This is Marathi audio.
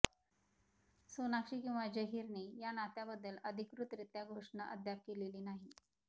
सोनाक्षी किंवा झहीरने या नात्याबद्दल अधिकृतरित्या घोषणा अद्याप केलेली नाही